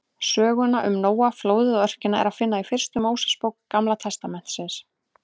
Söguna um Nóa, flóðið og örkina er að finna í fyrstu Mósebók Gamla testamentisins.